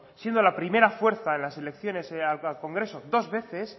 siendo la primera fuerza en las elecciones al congreso dos veces